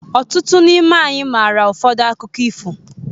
Ọtụtụ n'ime anyị maara ụfọdụ akụkọ ifo